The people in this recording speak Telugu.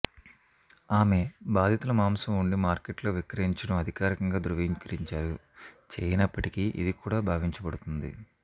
ఆమె బాధితుల మాంసం వండి మార్కెట్లో విక్రయించడం అధికారికంగా ధ్రువీకరించారు చేయనప్పటికీ ఇది కూడా భావించబడుతుంది